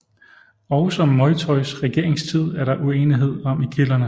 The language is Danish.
Også Moytoys regeringstid er der uenighed om i kilderne